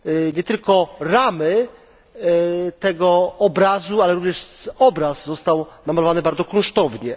Nie tylko ramy tego obrazu, ale również obraz został namalowany bardzo kunsztownie.